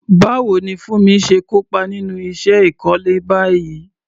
Báwo ni Funmi ṣe kópa nínú iṣẹ́ ìkọ́lé báyìí?